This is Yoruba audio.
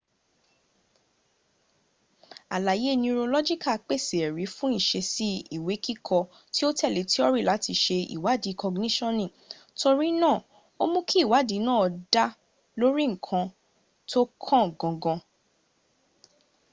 àlàyé nurolọ́gíkà pèsè ẹ̀rí fún ìṣesí ìwékíkọ tí ó tẹ̀le tíọ́rì láti ṣe ìwádí kọgníṣonì torínáà ó mú kí ìwádí náa dá lórí nkan tó kàn gangan